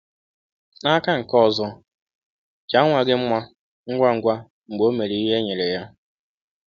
N’aka nke ọzọ, jaa nwa gị mma ngwa ngwa mgbe o mere ihe e nyere ya.